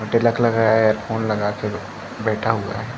तिलक लगाया है ईयरफ़ोन लगा के बैठा हुआ है।